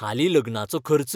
हालीं लग्नाचो खर्च